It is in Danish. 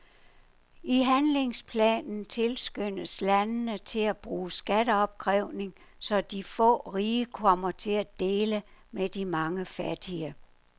I handlingsplanen tilskyndes landene til at bruge skatteopkrævning, så de få rige kommer til at dele med de mange fattige.